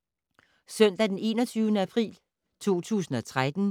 Søndag d. 21. april 2013